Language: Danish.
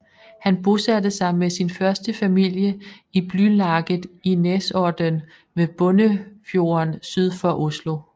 Han bosatte sig med sin første familie i Blylaget i Nesodden ved Bunnefjorden syd for Oslo